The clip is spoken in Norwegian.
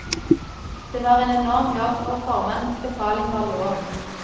Det var en enorm jobb, og formannens befaling var lov.